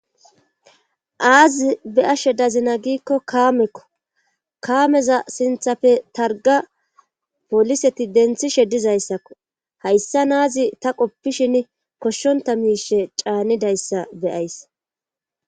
Aazi beashe dazina giikko kaamekko kaameza sinthappe targa poliseti denthishe dizayssakko hayssa naazi ta qoppishin koshshonta miishe caanidayssa beyays.